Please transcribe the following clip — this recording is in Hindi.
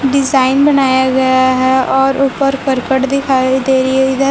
डिजाइन बनाया गया है और ऊपर करकट दिखाई दे रही है इधर।